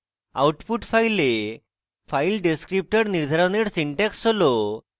output file file descriptor নির্ধারণের syntax হল